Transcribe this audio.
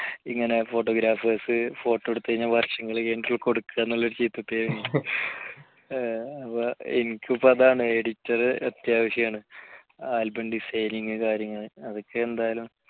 ഇങ്ങനെ photographers photo എടുത്ത് കഴിഞ്ഞാൽ വർഷങ്ങൾ കഴിഞ്ഞിട്ടാണ് കൊടുക്കുക എന്നുള്ള ഒരു ചീത്ത പേര് എനിക്കിപ്പോ അതാണ് editor അത്യാവശ്യമാണ് album designing കാര്യങ്ങൾ അതൊക്കെ എന്തായാലും